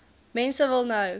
mense wil nou